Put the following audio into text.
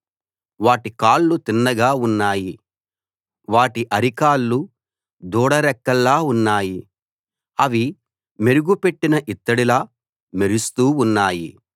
వాటి కాళ్లు తిన్నగా ఉన్నాయి వాటి అరికాళ్ళు దూడ డెక్కల్లా ఉన్నాయి అవి మెరుగు పెట్టిన ఇత్తడిలా మెరుస్తూ ఉన్నాయి